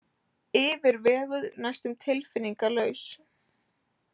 Yfirveguð, næstum tilfinningalaus.